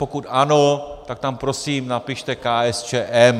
Pokud ano, tak tam prosím napište KSČM.